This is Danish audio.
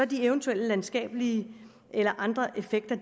de eventuelt landskabelige eller andre effekter